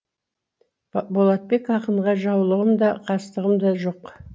болатбек ақынға жаулығым да қастығым да жоқ